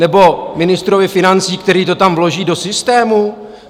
Nebo ministrovi financí, který to tam vloží do systému?